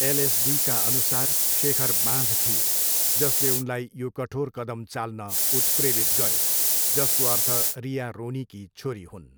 एलएसडीका अनुसार शेखर बाँझ थिए, जसले उनलाई यो कठोर कदम चाल्न उत्प्रेरित गऱ्यो, जसको अर्थ रिया रोनीकी छोरी हुन्।